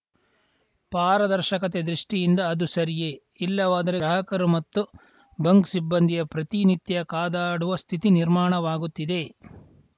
ಪಾರದರ್ಶಕತೆ ದೃಷ್ಟಿಯಿಂದ ಅದು ಸರಿಯೇ ಇಲ್ಲವಾದರೆ ಗ್ರಾಹಕರು ಮತ್ತು ಬಂಕ್‌ ಸಿಬ್ಬಂದಿಯ ಪ್ರತಿ ನಿತ್ಯ ಕಾದಾಡುವ ಸ್ಥಿತಿ ನಿರ್ಮಾಣವಾಗುತ್ತಿದೆ